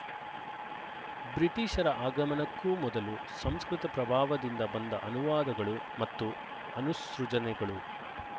ಬ್ರಿಟಿಶರ ಆಗಮನಕ್ಕೂ ಮೊದಲು ಸಂಸ್ಕೃತ ಪ್ರಭಾವದಿಂದ ಬಂದ ಅನುವಾದಗಳು ಮತ್ತು ಅನುಸೃಜನೆಗಳು